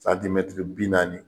Santimɛtiri bi naani